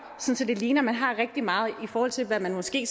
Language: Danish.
sådan at det ligner at man har rigtig meget i forhold til hvad man måske